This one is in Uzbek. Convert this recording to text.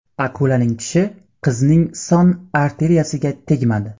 Akulaning tishi qizning son arteriyasiga tegmadi.